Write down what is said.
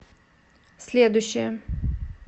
следующая